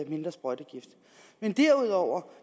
mindre sprøjtegift men derudover